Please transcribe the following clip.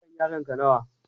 Shekaran yaron ka nawa?